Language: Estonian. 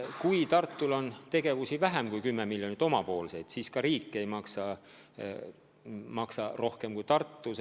Kui Tartul on tegevusi vähem kui 10 miljoni eest, siis riik ei maksa rohkem kui Tartu.